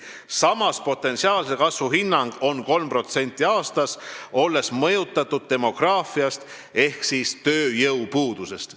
Samas on potentsiaalse kasvu hinnang 3% aastas, see on mõjutatud demograafilisest olukorrast ehk tööjõupuudusest.